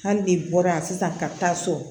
Hali de bɔra yan sisan ka taa so